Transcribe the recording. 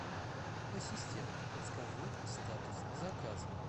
ассистент подскажи статус заказа